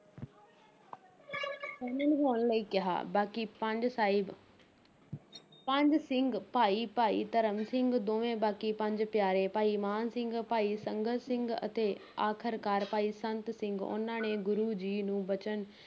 ਸ਼ਾਮਲ ਹੋਣ ਲਈ ਕਿਹਾ, ਬਾਕੀ ਪੰਜ ਸਾਹਿਬ ਪੰਜ ਸਿੰਘ ਭਾਈ ਭਾਈ ਧਰਮ ਸਿੰਘ, ਦੋਵੇਂ ਬਾਕੀ ਪੰਜ ਪਿਆਰੇ, ਭਾਈ ਮਾਨ ਸਿੰਘ, ਭਾਈ ਸੰਗਤ ਸਿੰਘ ਅਤੇ ਆਖਰਕਾਰ ਭਾਈ ਸੰਤ ਸਿੰਘ ਉਨ੍ਹਾਂ ਨੇ ਗੁਰੂ ਜੀ ਨੂੰ ਬਚਣ